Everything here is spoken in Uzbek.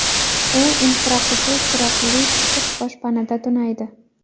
U infraqizil chiroqli issiq boshpanada tunaydi.